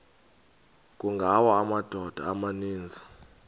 kungawa amadoda amaninzi